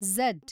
Z